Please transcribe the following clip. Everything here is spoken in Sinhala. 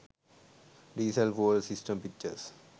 diesel fuel system pictures